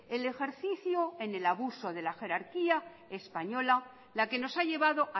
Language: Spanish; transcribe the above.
el ejercicio en el abuso de la jerarquía española la que nos ha llevado